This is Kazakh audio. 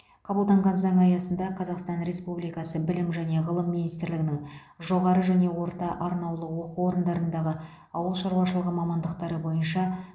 қабылданған заң аясында қазақстан республикасы білім және ғылым министрлігінің жоғары және орта арнаулы оқу орындарындағы ауыл шаруашылығы мамандықтары бойынша